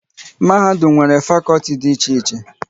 Mahadum nwere fakọlti dị iche iche